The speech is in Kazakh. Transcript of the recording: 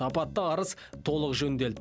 апатты арыс толық жөндел